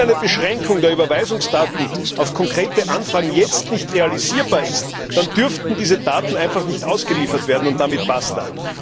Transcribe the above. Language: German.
Wenn eine Beschränkung der Überweisungsdaten auf konkrete Anfragen jetzt nicht realisierbar ist, dann dürften diese Daten einfach nicht ausgeliefert werden, und damit basta.